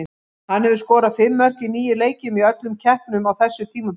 Hann hefur skorað fimm mörk í níu leikjum í öllum keppnum á þessu tímabili.